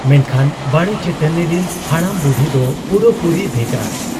ᱢᱮᱱᱠᱷᱟᱱ ᱵᱟᱲᱮ ᱪᱟᱹᱴᱟᱹᱱᱤ ᱨᱤᱱ ᱵᱚᱰᱟᱢ ᱵᱩᱰᱷᱤ ᱫᱚ ᱯᱩᱨᱟᱹᱯᱩᱨᱤ ᱵᱷᱮᱜᱟᱨ ᱾